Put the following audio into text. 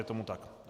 Je tomu tak?